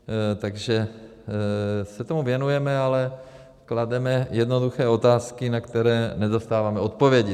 Takže se tomu věnujeme, ale klademe jednoduché otázky, na které nedostáváme odpovědi.